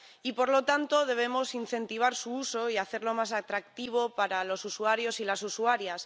Y, por lo tanto, debemos incentivar su uso y hacerlo más atractivo para los usuarios y las usuarias.